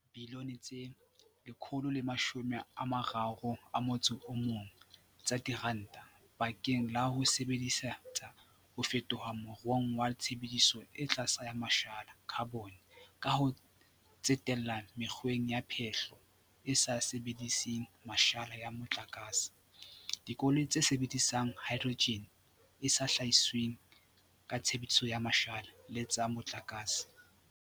e sa tswa fumana boitlamo ba pele bo ka etsang dibilione tse 131 tsa diranta bakeng la ho e sebe disetsa ho fetohela moruong wa tshebediso e tlase ya ma shala, khabone, ka ho tsetela mekgweng ya phehlo e sa sebediseng mashala ya mo tlakase, dikoloi tse sebedisang haedrojene e sa hlahisweng ka tshebediso ya mashala le tsa motlakase.